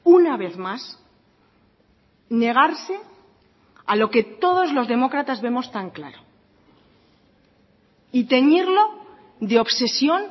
una vez más negarse a lo que todos los demócratas vemos tan claro y teñirlo de obsesión